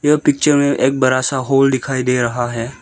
यह पिक्चर में एक बड़ा सा होल दिखाई दे रहा है।